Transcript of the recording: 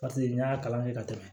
Paseke n y'a kalan kɛ ka tɛmɛ